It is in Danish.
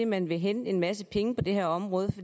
man vil hente en masse penge på det her område